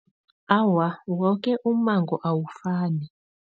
Awa, woke ummango awufani.